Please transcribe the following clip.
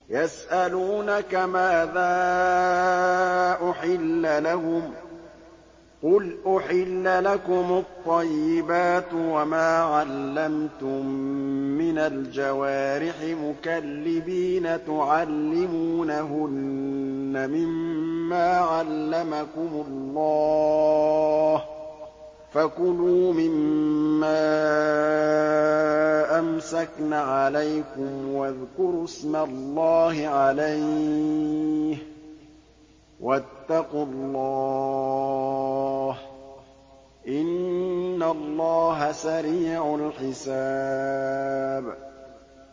يَسْأَلُونَكَ مَاذَا أُحِلَّ لَهُمْ ۖ قُلْ أُحِلَّ لَكُمُ الطَّيِّبَاتُ ۙ وَمَا عَلَّمْتُم مِّنَ الْجَوَارِحِ مُكَلِّبِينَ تُعَلِّمُونَهُنَّ مِمَّا عَلَّمَكُمُ اللَّهُ ۖ فَكُلُوا مِمَّا أَمْسَكْنَ عَلَيْكُمْ وَاذْكُرُوا اسْمَ اللَّهِ عَلَيْهِ ۖ وَاتَّقُوا اللَّهَ ۚ إِنَّ اللَّهَ سَرِيعُ الْحِسَابِ